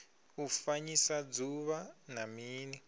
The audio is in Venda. u fanyisa dzuvha na mini